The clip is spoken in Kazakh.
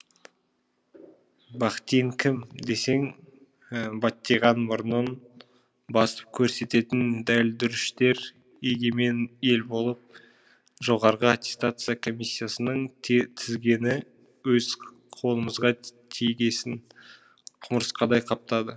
бахтин кім десең быттиған мұрнын басып көрсететін дәлдүріштер егемен ел болып жоғарғы аттестация комиссиясының тізгіні өз қолымызға тигесін құмырысқадай қаптады